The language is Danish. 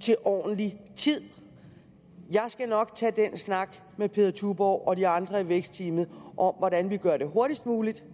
til ordentlig tid jeg skal nok tage den snak med peder tuborgh og de andre i vækstteamet om hvordan vi gør det hurtigst muligt